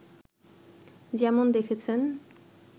যেমন দেখেছেন